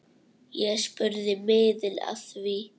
Ég spurði miðil að því.